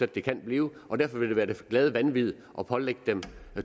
det kan blive derfor vil det være det glade vanvid at pålægge dem